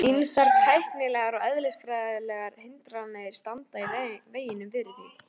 Ýmsar tæknilegar og eðlisfræðilegar hindranir standi í veginum fyrir því.